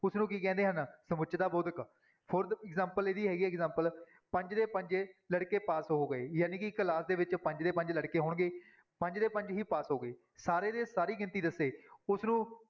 ਉਸਨੂੰ ਕੀ ਕਹਿੰਦੇ ਹਨ ਸਮੁੱਚਤਾ ਬੋਧਕ fourth example ਇਹਦੀ ਹੈਗੀ ਹੈ example ਪੰਜ ਦੇ ਪੰਜੇ ਲੜਕੇ ਪਾਸ ਹੋ ਗਏ, ਜਾਣੀ ਕਿ ਇੱਕ class ਦੇ ਵਿੱਚ ਪੰਜ ਦੇ ਪੰਜ ਲੜਕੇ ਹੋਣਗੇ, ਪੰਜ ਦੇ ਪੰਜ ਹੀ ਪਾਸ ਹੋ ਗਏ, ਸਾਰੇ ਦੇ ਸਾਰੀ ਗਿਣਤੀ ਦੱਸੇ ਉਸਨੂੰ